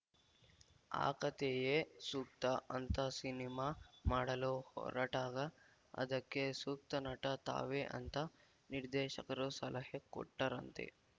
ಆಕತೆಯೇ ಸೂಕ್ತ ಅಂತ ಸಿನಿಮಾ ಮಾಡಲು ಹೊರಟಾಗ ಅದಕ್ಕೆ ಸೂಕ್ತ ನಟ ತಾವೇ ಅಂತ ನಿರ್ದೇಶಕರು ಸಲಹೆ ಕೊಟ್ಟರಂತೆ